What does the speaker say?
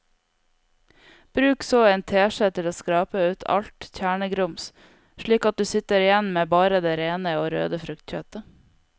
Bruk så en teskje til å skrape ut alt kjernegrums slik at du sitter igjen med bare det rene og røde fruktkjøttet.